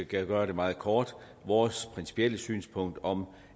kan gøre det meget kort vores principielle synspunkt om